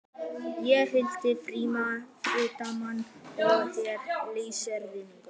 Ég heiti Frímann Hartmann og er lögfræðingur